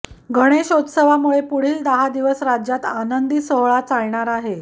गणेशोत्सवामुळे पुढील दहा दिवस राज्यात आनंदी सोहळा चालणार आहे